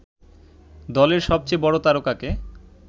দলের সবচেয়ে বড় তারকাকে